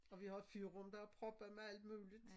Og vi har et fyrrum som er proppet med alt muligt